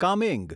Kameng